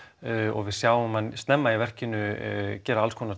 og við sjáum hann snemma í verkinu gera